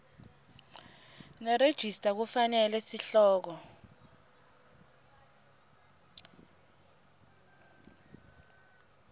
nerejista kufanele sihloko